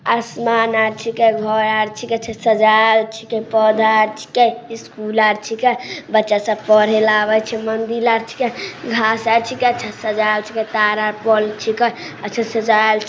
आसमान आर छींको घर आर छींको अच्छा सजाएल छींके पौधो आर छींके स्कूल आर छींके बच्चा सब पढ़ेले आवे छै मंदिर आर छींके घास आर छींके अच्छा से सजाएल आर छींके तार आर पोल छींके अच्छा से सजाएल --